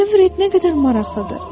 Təsəvvür et nə qədər maraqlıdır.